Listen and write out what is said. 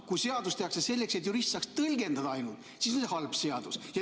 Kui seadus tehakse selleks, et jurist saaks ainult tõlgendada, siis on see halb seadus.